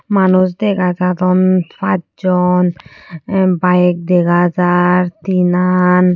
Manuch degajadon pach jon tah bike dega jaar tinan.